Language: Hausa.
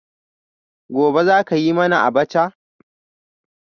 Gobe ​​zaka yi mana abacha?